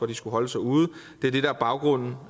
de skulle holde sig ude og det er det der er baggrunden